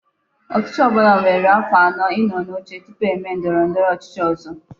Ochichi obula nwere afo ano I no n'oche tupu eme ndoro ndoro ochichi ozo